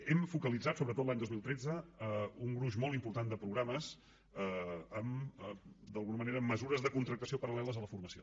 hem focalitzat sobretot l’any dos mil tretze un gruix molt important de programes en d’alguna manera mesures de contractació paral·leles a la formació